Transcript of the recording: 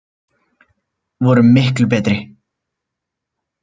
Vorum miklu betri.